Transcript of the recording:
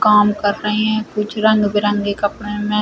काम कर रहे हैं कुछ रंग बरंगे कपड़े में --